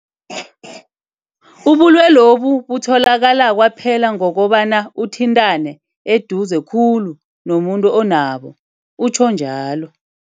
Ubulwelobu butholakala kwaphela ngokobana uthintane eduze khulu nomuntu onabo, utjho njalo.